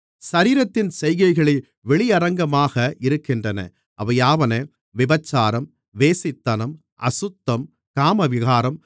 சரீரத்தின் செய்கைகள் வெளியரங்கமாக இருக்கின்றன அவையாவன விபசாரம் வேசித்தனம் அசுத்தம் காமவிகாரம்